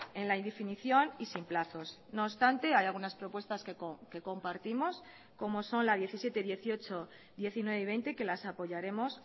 en la indefinición y sin plazos no obstante hay algunas propuestas que compartimos como son la diecisiete dieciocho diecinueve y veinte que las apoyaremos